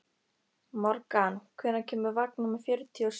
Morgan, hvenær kemur vagn númer fjörutíu og sjö?